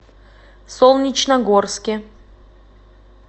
солнечногорске